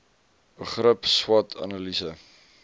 begrip swot analise